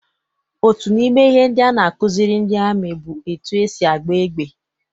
Otu n'ime ihe ndị a na-akụziri ndị amị bụ etu esi agba égbà.